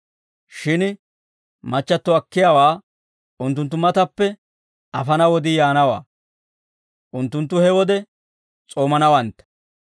Shin machchatto akkiyaawaa unttunttu matappe afana wodii yaanawaa; unttunttu he wode s'oomanawantta.